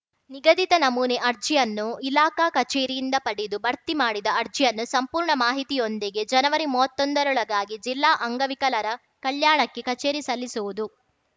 ನಿಗಧಿತ ನಮೂನೆ ಅರ್ಜಿಯನ್ನು ಇಲಾಖಾ ಕಚೇರಿಯಿಂದ ಪಡೆದು ಭರ್ತಿ ಮಾಡಿದ ಅರ್ಜಿಯನ್ನು ಸಂಪೂರ್ಣ ಮಾಹಿತಿಯೊಂದಿಗೆ ಜನವರಿ ಮೂವತ್ತೊಂದರೊಳಗಾಗಿ ಜಿಲ್ಲಾ ಅಂಗವಿಕಲರ ಕಲ್ಯಾಣ ಕಚೇರಿಗೆ ಸಲ್ಲಿಸುವುದು